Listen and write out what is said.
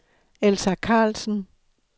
Elsa Karlsen